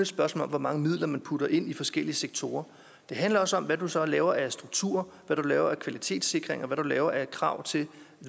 spørgsmål om hvor mange midler man putter ind i forskellige sektorer det handler også om hvad du så laver af strukturer hvad du laver af kvalitetssikring og hvad du laver af krav til